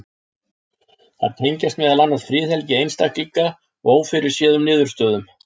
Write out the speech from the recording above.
Þær tengjast meðal annars friðhelgi einstaklinga og ófyrirséðum niðurstöðum.